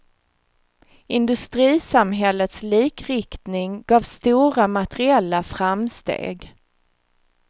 Industrisamhällets likriktning gav stora materiella framsteg.